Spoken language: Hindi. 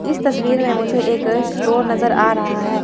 इस तस्वीर में मुझे एक स्टोर नजर आ रहा है।